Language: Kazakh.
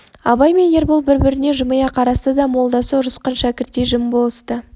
абай мен ербол біріне-бірі жымия қарасты да молдасы ұрысқан шәкірттей жым болысты